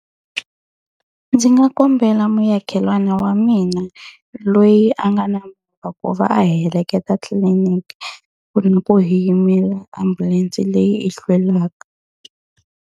Ndzi nga kombela muakelani wa mina loyi a nga na movha ku va a heleketa tliliniki, ku ri na ku hi yimela ambulense leyi yi hlwelaka.